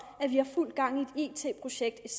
at vi har fuld gang i et it projekt